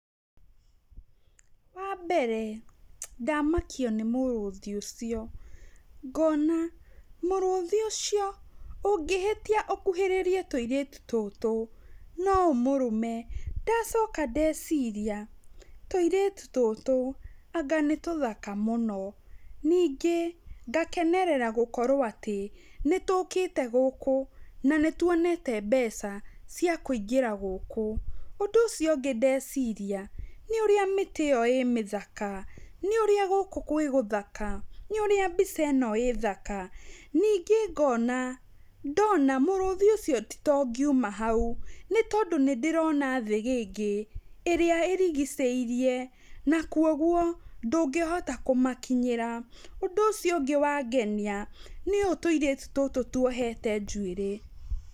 Wambere ndamakio nĩ mũrũthi ũcio, ngona mũrũthi ũcio ũngĩhĩtia ũkuhĩrĩrie tũirĩtu tũtũ, no ũmũrũme ndacoka ndeciria tũirĩtu tũtũ anga nĩ tũthaka mũno, ningĩ ngakenerera gũkorwo atĩ, nĩtũkĩte gũkũ na nĩtwonete mbeca cia kũingĩra gũkũ, ũndũ ũcio ũngĩ ndeciria nĩurĩa mĩtĩ ĩyo ĩ mĩthaka, nĩũrĩa gũkũ gwĩ gũthaka, nĩũrĩa mbica ĩno ĩ thaka, ningĩ ngona ndona mũrũthi ũcio ti ta ũngiuma hau, nĩ tondũ nĩndĩrona thĩgĩngĩ ĩrĩa ĩrigicĩirie, na kwa ũguo ndũngĩhota kũmakinyĩra, ũndũ ũcio ũngĩ wangenia nĩ ũũ tũirĩtu tũtũ twohete njuĩrĩ.